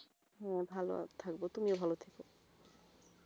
হম ভালো থাকবো তুমিও ভালো থেকো.